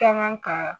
Kan kaa